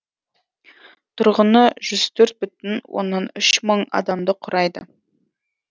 тұрғыны жүз төрт бүтін оннан үш мың адамды құрайды